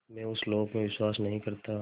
मैं उस लोक में विश्वास नहीं करता